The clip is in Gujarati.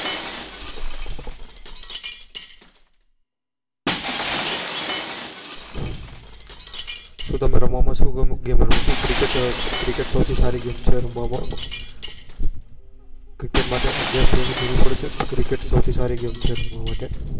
તમે રમવા માં સુ ગમે રમો છો cricket સૌથીસારી game છે રમવા cricket માટે અગિયાર player ની જરૂર પડે છે.